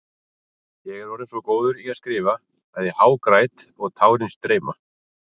Ég er orðinn svo góður í að skrifa að ég hágræt og tárin streyma.